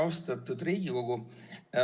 Austatud Riigikogu!